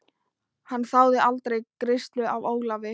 Hann þáði aldrei greiðslu af Ólafi.